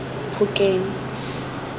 phokeng